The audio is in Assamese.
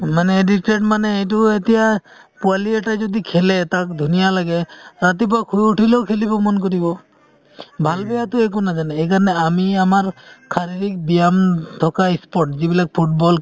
মানে addicted মানে এইটো এতিয়া পোৱালী এটাই যদি খেলে তাক ধুনীয়া লাগে । ৰাতিপুৱা শুই উঠিলেও খেলিব মন কৰিব । ভাল বেয়াটো একো নাজানে , সেই কাৰণে আমি আমাৰ শাৰীৰিক ব্যায়াম থাকা sports যিবিলাক ফুটবল ক্ৰিকেট